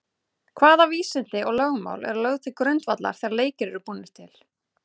Hvaða vísindi og lögmál eru lögð til grundvallar þegar leikir eru búnir til?